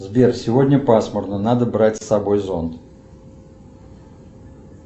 сбер сегодня пасмурно надо брать с собой зонт